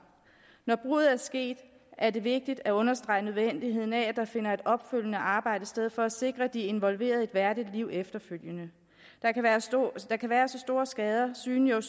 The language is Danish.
når bruddet er sket er det vigtigt at understrege nødvendigheden af at der finder et opfølgende arbejde sted for at sikre de involverede et værdigt liv efterfølgende der kan være så store skader synlige og